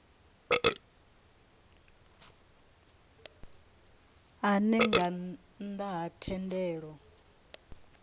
ane nga nnda ha thendelo